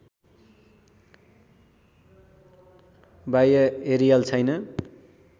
बाह्य एरियल छैन